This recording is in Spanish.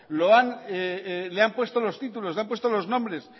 le han puesto los títulos le han puesto los nombres